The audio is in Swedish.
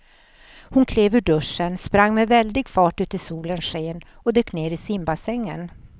Hon klev ur duschen, sprang med väldig fart ut i solens sken och dök ner i simbassängen.